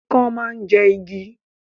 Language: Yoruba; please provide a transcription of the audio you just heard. Ikán máa ń jẹ igi